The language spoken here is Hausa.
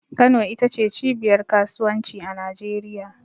Kano ita ce cibiyar Kasuwanci a Najeriya.